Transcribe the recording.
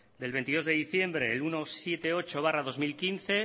de veintidós de diciembre el ciento setenta y ocho barra dos mil quince